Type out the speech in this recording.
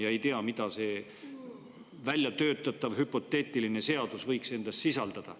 Me ei tea, mida see väljatöötatav hüpoteetiline seadus võiks endas sisaldada.